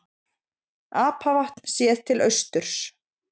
apavatn séð til austurs